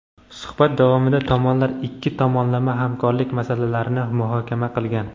Suhbat davomida tomonlar ikki tomonlama hamkorlik masalalarini muhokama qilgan.